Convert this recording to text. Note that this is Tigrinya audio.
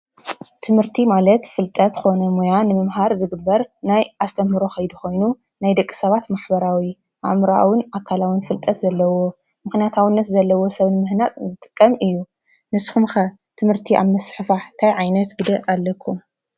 ትምህርቲ ማለት ፍልጠት ኮነ ሞያ ንምምሃር ዝግበር ናይ ኣስተምህሮ ከይዲ ኮይኑ፣ ናይ ደቂ ሰባት ማሕበራዊ ኣእምሮኣውን ኣካላውን ፍልጠት ዘለዎ ምኽንያታውነት ዘለዎ ሰብ ንምህናፅ ዝጥቀም እዩ። ንስኹም ኸ ትምህርቲ ኣብ ምስፍሕፋሕ እንታይ ዓይነት ግደ ኣለኩም?